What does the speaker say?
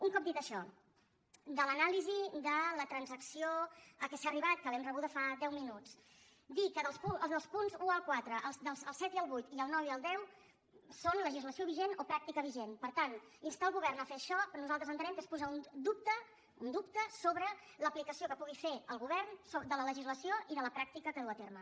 un cop dit això de l’anàlisi de la transacció a què s’ha arribat que l’hem rebuda fa deu minuts dir que dels punts un al quatre el set i el vuit i el nou i el deu són legislació vigent o pràctica vigent per tant instar el govern a fer això nosaltres entenem que és posar un dubte sobre l’aplicació que pugui fer el govern de la legislació i de la pràctica que duu a terme